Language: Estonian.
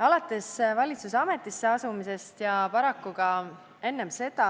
Alates valitsuse ametisse asumisest ja paraku ka enne seda,